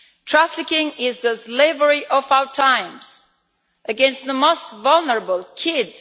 Trafficking is the slavery of our times against the most vulnerable kids.